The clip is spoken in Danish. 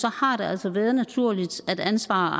har det altså været naturligt at ansvaret